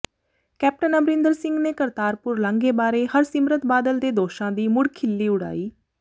captain Amarinder Singh ਨੇ ਕਰਤਾਰਪੁਰ ਲਾਂਘੇ ਬਾਰੇ ਹਰਸਿਮਰਤ ਬਾਦਲ ਦੇ ਦੋਸ਼ਾਂ ਦੀ ਮੁੜ ਖਿੱਲੀ ਉਡਾਈ